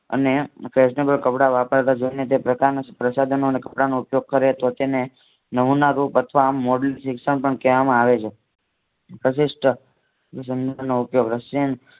અને ફેશનેબલ કપડાં વાપરતા જોઈ ને તે પ્રકારના સંસાધનો અને કપડાનો ઉપયોગ કરે તો તેને નામુમરૂપ અથવા શિક્ષણ પણ કહેવામાં આવે છે. પ્રશિષ્ટ